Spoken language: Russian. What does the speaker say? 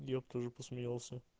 я б тоже посмеялся